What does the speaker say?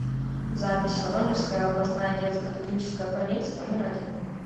запись воронежская областная детская клиническая больница номер один